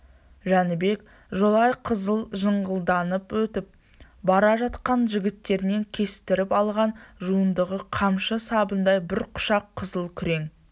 жәнібек жолай қызыл жыңғылданөтіп бара жатқанда жігіттеріне кестіріп алған жуандығы қамшы сабындай бір құшақ қызыл күрең